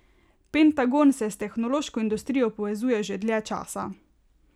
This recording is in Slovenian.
Pentagon se s tehnološko industrijo povezuje že dlje časa.